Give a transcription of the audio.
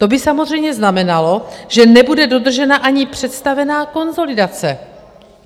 To by samozřejmě znamenalo, že nebude dodržena ani představená konsolidace.